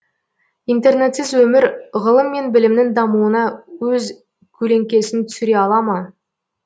интернетсіз өмір ғылым мен білімнің дамуына өз көлеңкесін түсіре ала ма